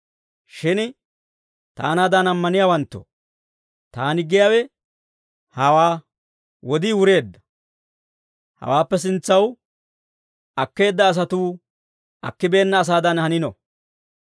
Shin taanaadan ammaniyaawanttoo, taani giyaawe hawaa; wodii wureedda. Hawaappe sintsaw akkeedda asatuu, akkibeenna asaadan hanino.